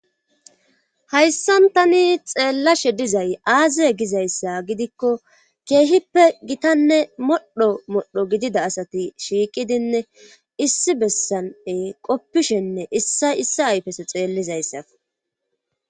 Hayssan tani xeellashe dizay aaziye gizayssa gidikko keehippe gitanne modho modho gidida asati shiiqidinne issi bessane qoppishenne issa issi ayfese xeellizayssa.